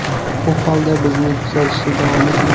U holda bizni kuzatishda davom eting.